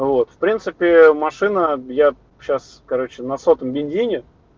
вот в принципе машина я сейчас короче на сотом бензине